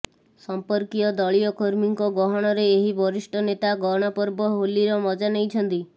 ସଂପର୍କୀୟ ଦଳୀୟ କର୍ମୀଙ୍କ ଗହଣରେ ଏହି ବରିଷ୍ଠ ନେତା ଗଣପର୍ବ ହୋଲିର ମଜା ନେଇଛନ୍ତି